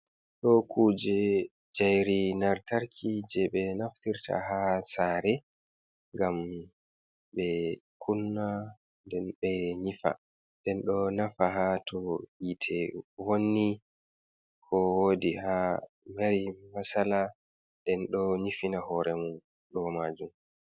Ɗo kuje njairi lantarki, je ɓe naftirta haa saare, ngam ɓe kunna nden ɓe nyifa nden ɗo nafa haa to yite vonni ko woodi has l mari masala nden ɗo nyifina hore mum ɗo maajum.